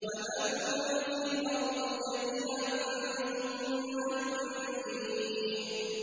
وَمَن فِي الْأَرْضِ جَمِيعًا ثُمَّ يُنجِيهِ